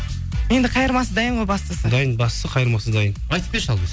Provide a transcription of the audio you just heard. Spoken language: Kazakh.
енді қайырмасы дайын ғой бастысы дайын бастысы қайырмасы дайын айтып берші ал